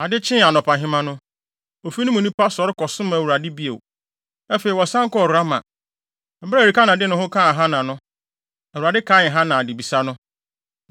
Ade kyee anɔpahema no, ofi no mu nnipa sɔre kɔsom Awurade bio. Afei, wɔsan kɔɔ Rama. Bere a Elkana de ne ho kaa Hana no, Awurade kaee Hana adebisa no,